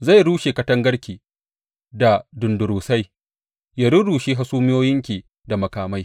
Zai rushe katangarki da dundurusai, ya rurrushe hasumiyoyinki da makamai.